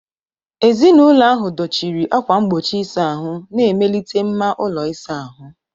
Ezinụlọ ahụ dọchiri ákwà mgbochi ịsa ahụ, na-emelite mma ụlọ ịsa ahụ.